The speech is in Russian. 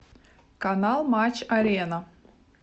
канал матч арена